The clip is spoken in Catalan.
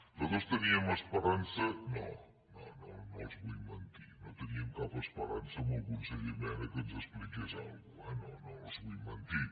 nosaltres teníem esperança no no no els vull mentir no teníem cap esperança en el conseller mena que ens expliqués alguna cosa eh no no els vull mentir